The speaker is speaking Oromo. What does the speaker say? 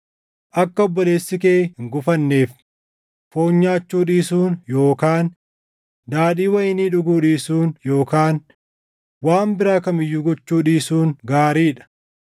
Akka obboleessi kee hin gufanneef, foon nyaachuu dhiisuun yookaan daadhii wayinii dhuguu dhiisuun yookaan waan biraa kam iyyuu gochuu dhiisuun gaarii dha.